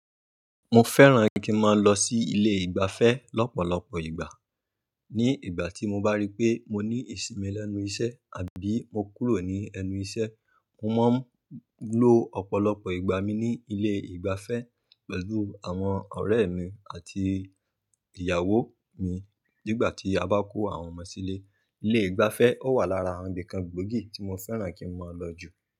Mo fẹ́ràn kí n máa lọ sí ilé ìgbafẹ́ lọ́pọ̀lọpọ̀ ìgbà. Ni ìgbà tí mo bá rí pé mo ní ìsinmi lẹ́nu iṣẹ́ àbí mo kúrò ní ẹnu iṣẹ́, mo máa ń lọ ọ̀pọ̀lọpọ̀ ìgbà mi ní ilé ìgbafẹ́ pẹ̀lú àwọn ọ̀rẹ́ mi àti ìyàwó mi. Nígbà tí a bá kó àwọn ọmọ sílé, ilé ìgbafẹ́ ó wà lára àwọn ibì kan gbòógì tí mo fẹ́ràn kí n máa lọ jù.